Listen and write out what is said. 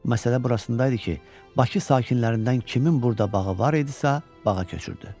Məsələ burasında idi ki, Bakı sakinlərindən kimin burada bağı var idisə, bağa köçürdü.